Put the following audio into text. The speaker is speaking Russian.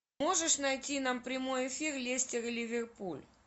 можешь найти нам прямой эфир лестер и ливерпуль